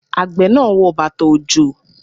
Àgbẹ̀ náà wọ bàtà-òjò.